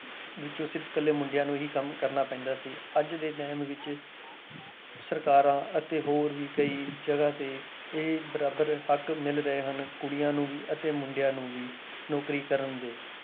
ਵਿੱਚੋਂ ਸਿਰਫ਼ ਇਕੱਲੇ ਮੁੰਡਿਆਂ ਨੂੰ ਹੀ ਕੰਮ ਕਰਨਾ ਪੈਂਦਾ ਸੀ, ਅੱਜ ਦੇ time ਵਿੱਚ ਸਰਕਾਰਾਂ ਅਤੇ ਹੋਰ ਵੀ ਕਈ ਜਗ੍ਹਾ ਤੇ ਇਹ ਬਰਾਬਰ ਹੱਕ ਮਿਲ ਰਹੇ ਹਨ, ਕੁੜੀਆਂ ਨੂੰ ਵੀ ਅਤੇ ਮੁੰਡਿਆਂ ਨੂੰ ਵੀ ਨੌਕਰੀ ਕਰਨ ਦੇ।